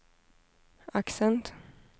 accent